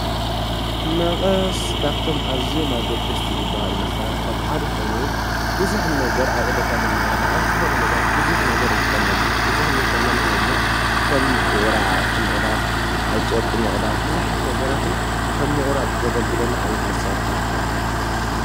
መቐስ ካብቶም ኣዘየማ ገድስቲ ዝብሃሉ መሣርሕታት ሓደኾይኑ ብዙኅ ነገር ኣብዕለታ መናበረና ኣብዝኾነ ነገራት ብዙኅ ነገር እንጥቐመሉ ዩ ።እዝኽኒ እልንተልናና አብነት ከም ወራዓቲ ምቕዳት ፣ኣብ ጨርቂ ምቕዳት፣ ብዙኃት ነገራትን ከብ ምቑራጽ ዘገልግለኒ ዓይነት መሣርሕ እዩ።